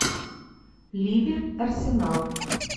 ливер арсенал